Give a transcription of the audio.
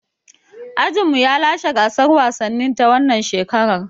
Ajinmu ya lashe gasar wasannin ta wannan shekarar.